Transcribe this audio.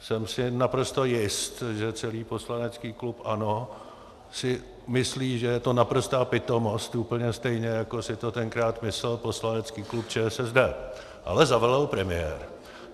Jsem si naprosto jist, že celý poslanecký klub ANO si myslí, že je to naprostá pitomost, úplně stejně, jako si to tenkrát myslel poslanecký klub ČSSD, ale zavelel premiér.